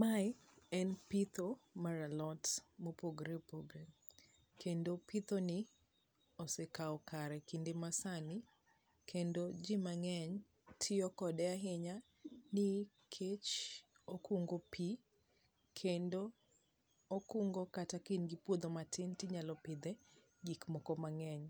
Mae en pitho mar alot mopogre opogre, kendo pithoni osekao kare kinde ma sani kendo ji mang'eny tiyo kode ahinya ni kech okungo pi, kendo okungo kata ka in gi puodho matin tinyalo pidhe gik moko mang'eny.